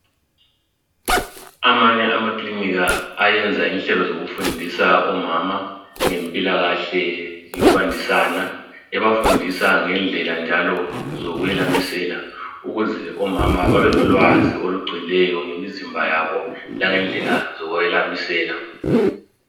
Amanye amakiliniki ayenza inhlelo zokufundisa omama ngempilakahle yokwandisana. Ebafundisa ngendlela njalo zokwelamisela ukuze omama babelolwazi olugcweleyo ngemizimba yabo langendlela zokwelamisela.